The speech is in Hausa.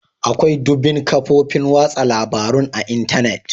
Akwai dumbin kafofin watsa labarun a Intanet.